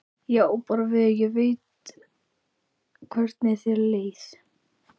Ég á bara við að ég veit hvernig þér leið.